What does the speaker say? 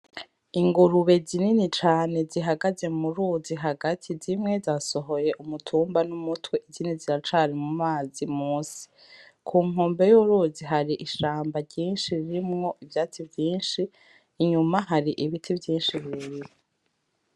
Ingurube zinini cane zihagaze mu ruzi hagati zimwe zasohoye umutumba n'umutwe izini ziracari mu mazi musi ku nkumbe y'uruzi hari ishamba ryinshi ririmwo ivyatsi vyinshi inyuma hari ibiti vyinshi birebire.